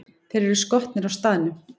Þeir eru skotnir á staðnum!